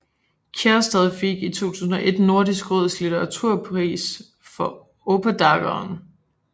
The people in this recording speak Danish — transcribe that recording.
Kjærstad fik i 2001 Nordisk råds litteraturpris for Oppdageren